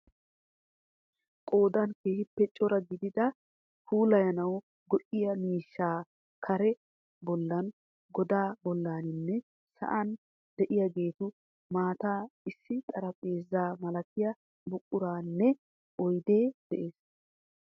Qoodan keehippe cora gidida puulayanawu go'iya miishshay kaaraa bollan, godaa bollaninne sa'an de'iyageetu matan issi xarapheeza malatiya buqurayinne oyidee de'es.